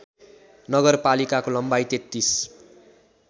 नगरपालिकाको लम्बाइ ३३